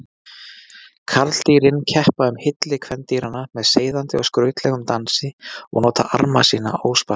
Karldýrin keppa um hylli kvendýranna með seiðandi og skrautlegum dansi og nota arma sína óspart.